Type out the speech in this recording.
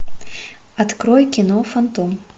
открой кино фантом